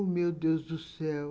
Ô, meu Deus do céu!